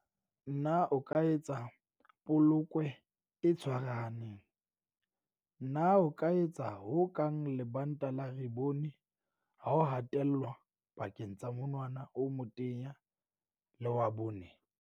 Na o ka etsa polokwe e tshwarahaneng? Na o ka etsa ho kang lebanta la ribone ha o hatellwa pakeng tsa monwana o motenya le wa bone?